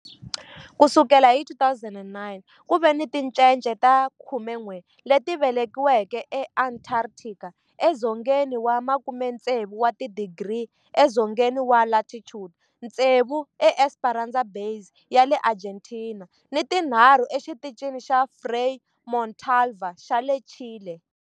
Ku sukela hi 2009, ku ve ni tincece ta 11 leti velekiweke eAntarctica, edzongeni wa 60 wa tidigri edzongeni wa latitude, tsevu eEsperanza Base ya le Argentina ni tinharhu eXitichini xa Frei Montalva xa le Chile.